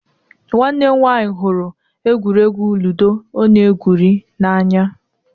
Nwanne m nwanyị hụrụ egwuregwu ludo ọ na-egwuri n'anya.